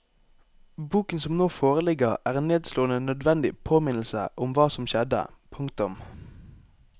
Boken som nå foreligger er en nedslående nødvendig påminnelse om hva som skjedde. punktum